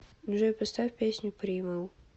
джой поставь песню примал